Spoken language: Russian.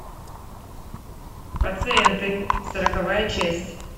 пациенты сороковая часть